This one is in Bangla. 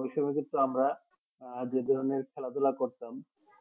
ওই সবে কিন্তু আমরা আহ যেগুলো নিয়ে খালা ধুলা করতাম